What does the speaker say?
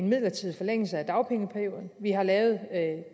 midlertidig forlængelse af dagpengeperioden vi har lavet